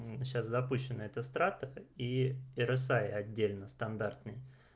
сейчас запущен это стракор и росай отдельно стандартный